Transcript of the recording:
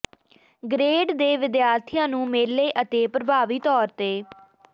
grade ਦੇ ਵਿਦਿਆਰਥੀਆਂ ਨੂੰ ਮੇਲੇ ਅਤੇ ਪ੍ਰਭਾਵੀ ਤੌਰ ਤੇ